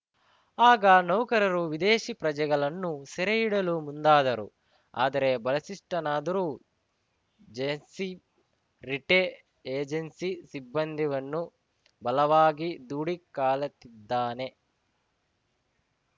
ಆಗ ನೌಕರರು ವಿದೇಶಿ ಪ್ರಜೆಗಳನ್ನು ಸೆರೆ ಹಿಡಿಯಲು ಮುಂದಾದರು ಆದರೆ ಬಲಿಷಿಷ್ಠನಾದರೂ ಜೇಸ್ಸೇ ರಿಟ್ಟೆ ಏಜೆನ್ಸಿ ಸಿಬ್ಬಂದಿವನ್ನು ಬಲವಾಗಿ ದೂಡಿ ಕಾಲತ್ತಿದ್ದಾನೆ